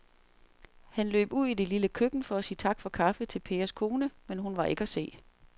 Han løb ud i det lille køkken for at sige tak for kaffe til Pers kone, men hun var ikke til at se.